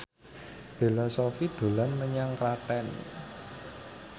Bella Shofie dolan menyang Klaten